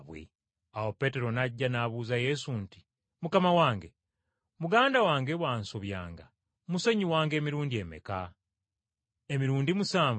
Awo Peetero n’ajja n’abuuza Yesu nti, “Mukama wange, muganda wange bw’ansobyanga musonyiwanga emirundi emeka? Emirundi musanvu?”